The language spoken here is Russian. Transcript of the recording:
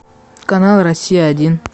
канал россия один